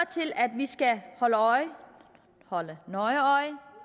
til at vi skal holde nøje øje